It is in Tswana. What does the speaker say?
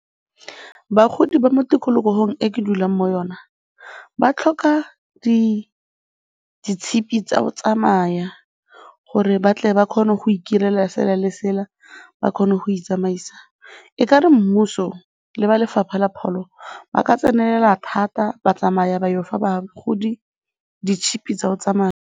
Bagodi ba mo tikologong e ke dulang mo yona ba tlhoka ditshipi tsa go tsamaya gore ba tle ba kgone go itirela sela le sela, ba kgone go itsamaisa. E ka re mmuso le ba lefapha la pholo ba ka tsenelela thata ba tsamaya ba ya go fa bagodi ditšhipi tsa go tsamaya.